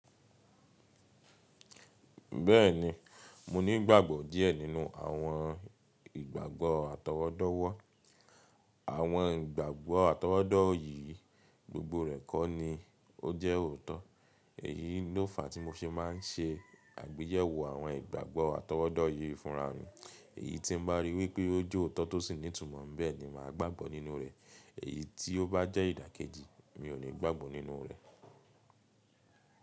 Bẹ́ẹ̀ni, mo ní ìgbàgbọ́ díẹ̀ nínú àwọn ìgbàgbọ́ àtọwọ́dọ́wọ́. Àwọn ìgbàgbọ́ àtọwọ́dọ́ yìí, gbogbo rẹ̀ kọ́ ni ó jẹ́ òótọ́. Èyí ni ó fàá tí mo se máa ń ṣe àgbéyẹ̀wò àwọn ìgbàgbọ́ àtọwọ́dọ́ yìí fúnra mi. Èyí tí mo bá rí wípé ó jẹ́ òótọ́ tó sì ní ìtumọ̀, nbẹ̀ ni máa gbàgbọ́ nínú rẹ̀. Èyí tí ó bá jẹ́ ìdàkejì, mi ò ní gbàgbọ́ nínú rẹ̀.